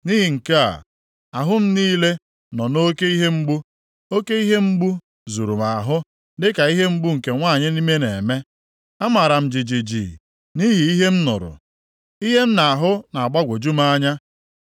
Nʼihi nke a, ahụ m niile nọ nʼoke ihe mgbu, oke ihe mgbu + 21:3 Ya bụ, ahụ ụfụ zuru m ahụ, dịka ihe mgbu nke nwanyị ime na-eme. Amara m jijiji nʼihi ihe m nụrụ, ihe m na-ahụ na-agbagwoju m anya.